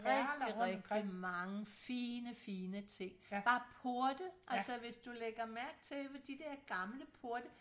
Rigtig rigtig mange fine fine ting bare porte altså hvis du lægger mærke til de der gamle porte